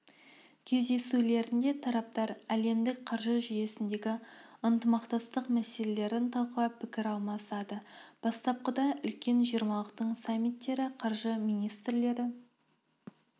кездесулерінде тараптар әлемдік қаржы жүйесіндегі ынтымақтастық мәселелерін талқылап пікір алмасады бастапқыда үлкен жиырмалықтың саммиттері қаржы министрлері